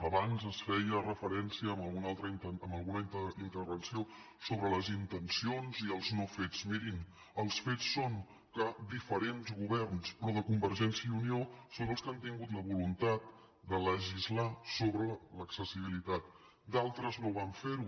abans es feia referència en alguna intervenció a les intencions i els no fets mirin els fets són que diferents governs però de convergència i unió són els que han tingut la voluntat de legislar sobre l’accessibilitat d’altres no van fer ho